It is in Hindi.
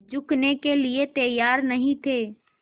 झुकने के लिए तैयार नहीं थे